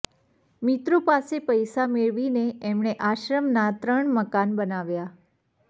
મિત્રો પાસે પૈસા મેળવીને એમણે આશ્રમનાં ત્રણ મકાન બનાવ્યાં